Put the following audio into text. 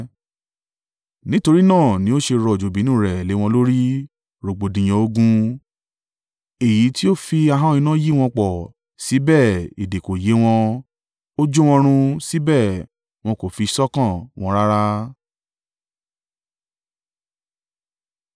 Nítorí náà ni ó ṣe rọ̀jò ìbínú un rẹ̀ lé wọn lórí, rògbòdìyàn ogun. Èyí tí ó fi ahọ́n iná yí wọn po, síbẹ̀ èdè kò yé wọn; ó jó wọn run, síbẹ̀ wọn kò fi sọ́kàn wọn rárá.